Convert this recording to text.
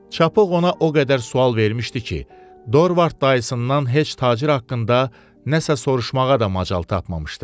Çapıq ona o qədər sual vermişdi ki, Dorvard dayısından heç tacir haqqında nəsə soruşmağa da macal tapmamışdı.